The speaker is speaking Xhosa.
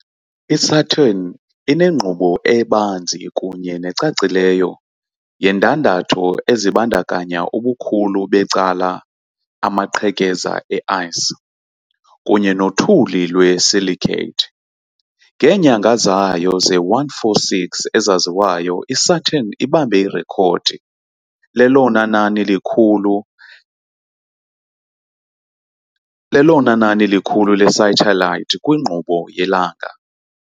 I-Saturn inenkqubo ebanzi kunye necacileyo yeendandatho ezibandakanya ubukhulu becala amaqhekeza e-ice kunye nothuli lwe-silicate. Ngeenyanga zayo ze-146 ezaziwayo, iSaturn ibambe irekhodi lelona nani likhulu lesathelayithi kwinkqubo yelanga.